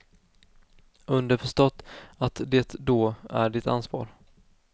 Underförstått att det då är ditt ansvar.